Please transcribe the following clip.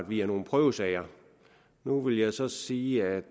via nogle prøvesager nu vil jeg så sige at